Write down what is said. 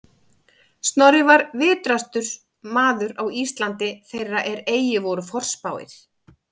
Snorri var vitrastur maður á Íslandi þeirra er eigi voru forspáir